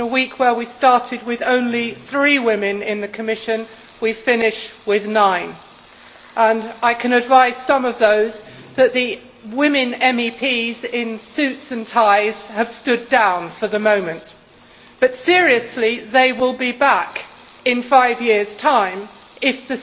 In a week where we started with only three women in the Commission, we finish with nine. I can advise some of those that the women MEPs in suits and ties have stood down for the moment, but they will be back in five years' time if